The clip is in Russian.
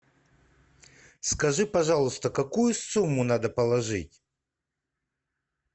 скажи пожалуйста какую сумму надо положить